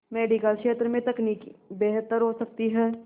medical क्षेत्र में तकनीक बेहतर हो सकती है